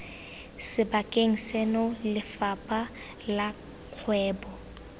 sebakeng seno lefapha la kgwebo